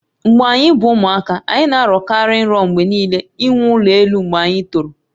Mgbe anyi bu ụmụaka, anyị na-arọ kari nrọ mgbe niile inwe ụlọ elụ mgbe anyị toro